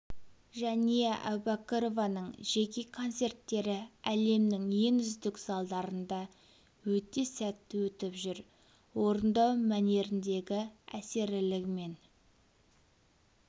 жәния әубәкірованың жеке концерттері әлемнің ең үздік залдарында өте сәтті өтіп жүр орындау мәнеріндегі әсерлілігі мен